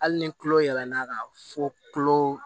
Hali ni kulo yɛlɛn na ka fɔ kulo